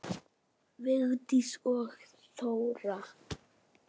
Vigdís og Rósa.